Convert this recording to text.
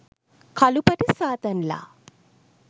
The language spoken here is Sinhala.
කළු පටි සාතන් ලා.